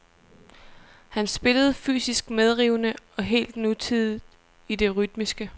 Han spillede fysisk medrivende og helt nutidigt i det rytmiske.